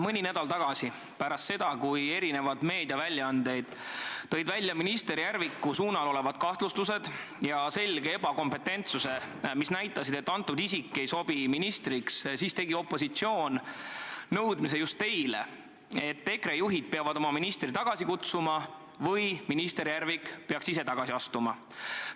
Mõni nädal tagasi – pärast seda, kui eri meediaväljaanded tõid esile kahtlustused minister Järviku kohta ja tema selge ebakompetentsuse, mis näitasid, et see isik ei sobi ministriks – esitas opositsioon nõudmise just teile, et EKRE juhid peavad oma ministri tagasi kutsuma või minister Järvik peaks ise tagasi astuma.